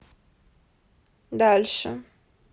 дальше